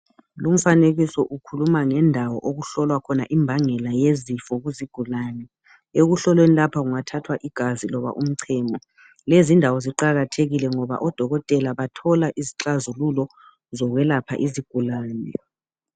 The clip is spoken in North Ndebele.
Lumfanekiso ukhuluma ngendawo okuhlolwa khona imbangela yezifo kuzigulane. Ekuhlolweni lapha kungathathwa igazi loba umchemo. Lezindawo ziqakathekile ngoba odokotela bathola izixazululo zokwelapha izigulane.